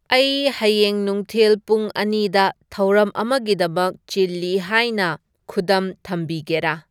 ꯑꯩ ꯍꯌꯦꯡ ꯅꯨꯡꯊꯤꯜ ꯄꯨꯡ ꯑꯅꯤꯗ ꯊꯧꯔꯝ ꯑꯃꯒꯤꯗꯃꯛ ꯆꯤꯜꯂꯤ ꯍꯥꯏꯅ ꯈꯨꯗꯝ ꯊꯝꯕꯤꯒꯦꯔꯥ